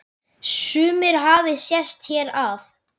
Sumir hafi sest hér að.